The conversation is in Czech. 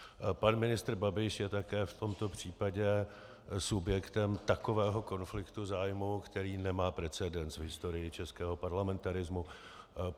Pan ministr Babiš je také v tomto případě subjektem takového konfliktu zájmů, který nemá precedens v historii českého parlamentarismu.